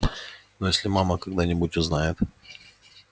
но если мама когда-нибудь узнает